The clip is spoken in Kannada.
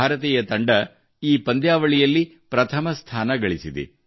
ಭಾರತೀಯ ತಂಡವು ಈ ಪಂದ್ಯಾವಳಿಯಲ್ಲಿ ಪ್ರಥಮ ಸ್ಥಾನ ಗಳಿಸಿದೆ